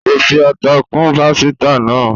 kọ fí atá kún pàsìta náa